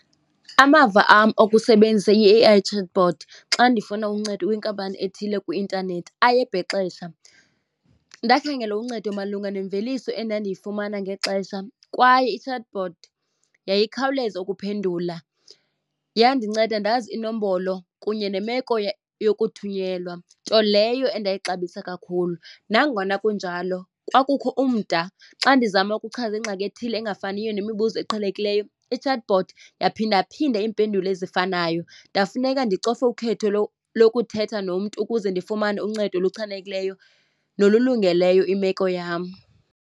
Amava wam okusebenzisa i-A_I chatbot xa ndifuna uncedo kwinkampani ethile kwi-intanethi ayebhexesha. Ndakhangela uncedo malunga nemveliso endandiyifumana ngexesha kwaye i-chatbot yayikhawuleza ukuphendula yandinceda ndazi inombolo kunye nemeko yokuthunyelwa, nto leyo endayixabisa kakhulu. Nangona kunjalo kwakukho umda xa ndizama ukuchaza ingxaki ethile engafaniyo nemibuzo eqhelekileyo, i-chatbot yaphindaphinda iimpendulo ezifanayo ndafuneka ndicofe ukhetho lokuthetha nomntu ukuze ndifumane uncedo oluchanekileyo nolulungeleyo imeko yam.